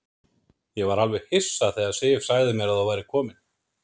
Ég var alveg hissa þegar Sif sagði mér að þú værir kominn.